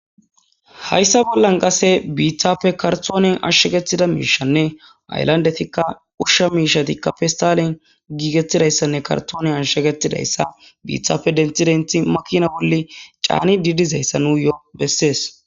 Hayssappe bollan qase bittappe karttonen ashshaggettidayysa mishanne ,hayillanddettika ushsha miishatikka pistalen gigettidayssanne karttonen ashshagetidayssa bittappe denththi denththi makina bolla carnidi dizayssa besses.